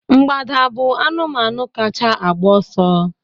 Mgbada bụ anụmanụ kacha agba ọsọ